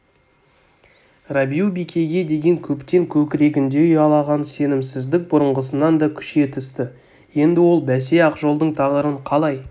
рабиу-бикеге деген көптен көкірегінде ұялаған сенімсіздік бұрынғысынан да күшейе түсті енді ол бәсе ақжолдың тағдырын қалай